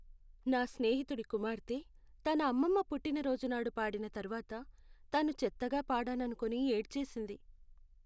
నా స్నేహితుడి కుమార్తె, తన అమ్మమ్మ పుట్టినరోజు నాడు పాడిన తర్వాత, తాను చెత్తగా పాడాననుకుని ఏడ్చేసింది.